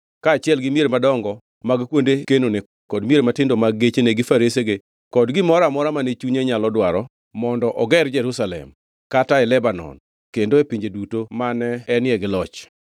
kaachiel gi mier madongo mag kuonde kenone kod mier matindo mag gechene gi faresege kod gimoro amora mane chunye nyalo dwaro mondo oger e Jerusalem, kata e Lebanon, kendo e pinje duto mane enie gi loch.